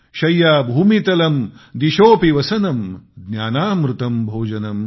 शय्या भूमितलं दिशोSपि वसनं ज्ञानामृतं भोजनं